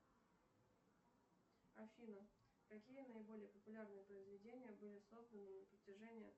афина какие наиболее популярные произведения были созданы на протяжении